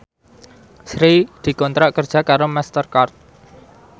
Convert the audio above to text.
Sri dikontrak kerja karo Master Card